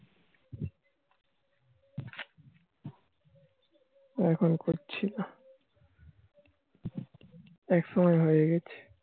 এখন করছি না একসময় হয়ে গাছে